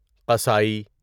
قصاٮٔی